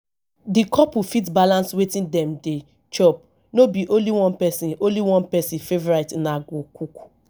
di couple fit balance wetin dem dey chop no be only one person only one person favourite una go cook